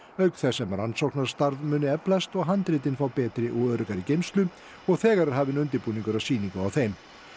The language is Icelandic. auk þess sem rannsóknastarf muni eflast og handritin frá betri og öruggari geymslu og þegar er hafinn undirbúningur að sýningu á þeim